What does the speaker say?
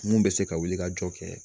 Mun bɛ se ka wuli ka jɔ kɛ